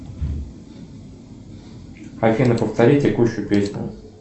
афина повтори текущую песню